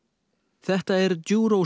þetta er